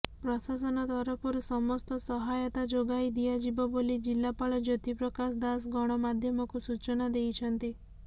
ପ୍ରଶାସନ ତରଫରୁ ସମସ୍ତ ସହାୟତା ଯୋଗାଇ ଦିଆଯିବ ବୋଲି ଜିଲ୍ଲାପାଳ ଜ୍ୟୋତି ପ୍ରକାଶ ଦାସ ଗଣମାଧ୍ୟମକୁ ସୂଚନା ଦେଇଛନ୍ତି